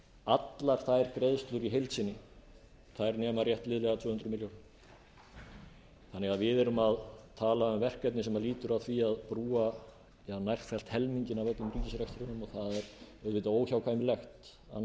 allar þær greiðslur í heild sinni nema rétt liðlega tvö hundruð milljónir þannig að við erum að tala um verkefni sem lýtur að því að brúa nærfellt helminginn af öllum ríkisrekstrinum og það er auðvitað óhjákvæmilegt annað en